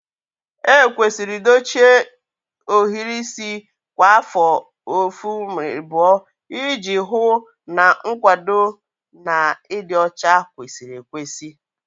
Ekwesịrị dochie ohiri isi kwa afọ 1-2 iji hụ na nkwado na ịdị ọcha kwesịrị ekwesị